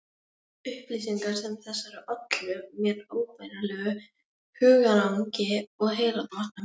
Upplýsingar sem þessar ollu mér óbærilegu hugarangri og heilabrotum.